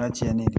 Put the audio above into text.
tiɲɛ de do